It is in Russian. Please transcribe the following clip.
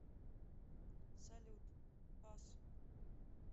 салют бас